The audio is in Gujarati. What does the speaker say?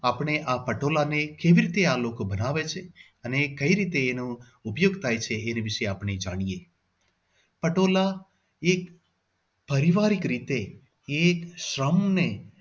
આપણે આ પટોળાને એ કેવી રીતે આ લોકો બનાવે છે અને કઈ રીતે એનો ઉપયોગ થાય છે એને વિશે આપણે જાણીએ. પટોળા એક પારિવારિક રીતે એક શ્રમ ને